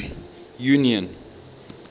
union